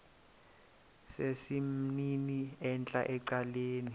sesimnini entla ecaleni